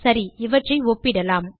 சரி இவற்றை ஒப்பிடலாம்